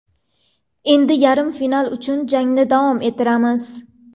Endi yarim final uchun jangni davom ettiramiz.